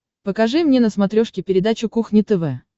покажи мне на смотрешке передачу кухня тв